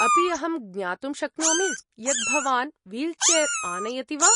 अपि अहं ज्ञातुं शक्नोमि यत् भवान् वील्चेर् आनयति वा?